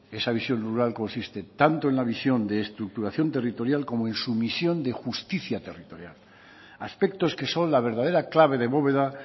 esa visión rural consiste tanto en la visión de estructuración territorial como en su misión de justicia territorial aspectos que son la verdadera clave de bóveda